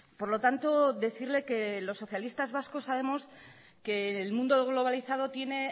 por lo tanto decirle que los socialistas vascos sabemos que el mundo globalizado tiene